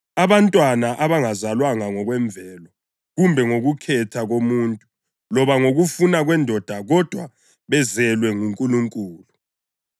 abantwana abangazalwanga ngokwemvelo, kumbe ngokukhetha komuntu, loba ngokufuna kwendoda kodwa bezelwe nguNkulunkulu.